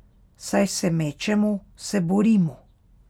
Saj se mečemo, se borimo.